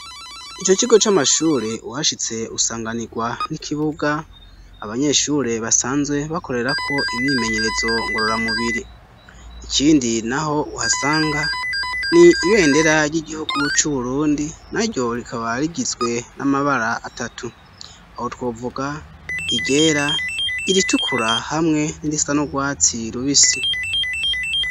Ico kigo c'amashure uhashitse usanganirwa n'ikibuga abanyeshure basanzwe bakorerako imyimenyerezo ngorora mubiri ,ikindi naho uhasanga ni ibendera ry'igihugu c'uburundi ,na ryo rikaba rigizwe n'amabara atatu ,aho twovuga iryera, iritukura hamwe n'irisa n'urwatsi rubisi.